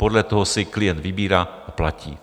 Podle toho si klient vybírá a platí.